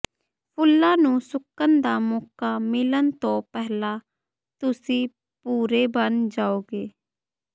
ਫੁੱਲਾਂ ਨੂੰ ਸੁੱਕਣ ਦਾ ਮੌਕਾ ਮਿਲਣ ਤੋਂ ਪਹਿਲਾਂ ਤੁਸੀਂ ਭੂਰੇ ਬਣ ਜਾਓਗੇ